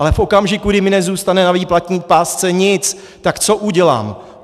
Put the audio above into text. Ale v okamžiku, kdy mi nezůstane na výplatní pásce nic, tak co udělám?